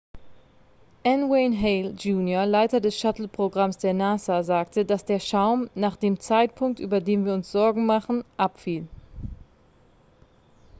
n wayne hale jr leiter des shuttle-programms der nasa sagte dass der schaum nach dem zeitpunkt über den wir uns sorgen machen abfiel